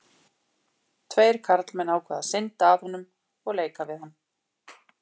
Tveir karlmenn ákváðu að synda að honum og leika við hann.